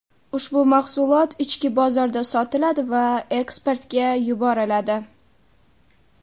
Ushbu mahsulot ichki bozorda sotiladi va eksportga yuboriladi.